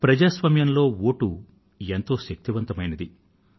ప్రజాస్వామ్యంలో వోటు శక్తి ఎంతో శక్తివంతమైనటువంటిది